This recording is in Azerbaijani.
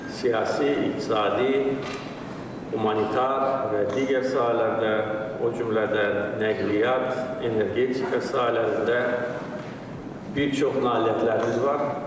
Siyasi, iqtisadi, humanitar və digər sahələrdə, o cümlədən nəqliyyat, energetika sahələrində bir çox nailiyyətlərimiz var.